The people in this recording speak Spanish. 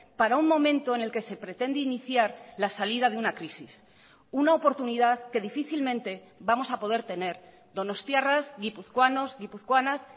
para un momento en el que se pretende iniciar la salida de una crisis una oportunidad que difícilmente vamos a poder tener donostiarras guipuzcoanos guipuzcoanas